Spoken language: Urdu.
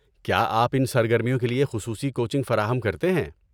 کیا آپ ان سرگرمیوں کے لیے خصوصی کوچنگ فراہم کرتے ہیں؟